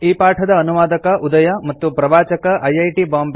ಈ ಪಾಠದ ಅನುವಾದಕ ಉದಯ ಮತ್ತು ಪ್ರವಾಚಕ ಐಐಟಿ